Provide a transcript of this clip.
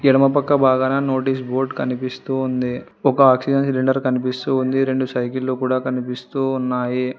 ఎడమపక్క భాగాన notice board కనిపిస్తూ ఉంది ఒక ఆక్సిజన్ సిలిండర్ కనిపిస్తూ ఉంది రెండు సైకిళ్ళు కూడా కనిపిస్తూ ఉన్నాయి.